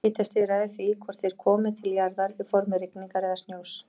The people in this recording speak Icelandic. Hitastigið ræður því hvort þeir komi til jarðar í formi rigningar eða snjós.